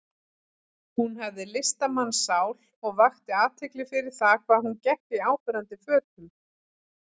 Hún hafði listamannssál og vakti athygli fyrir það hvað hún gekk í áberandi fötum.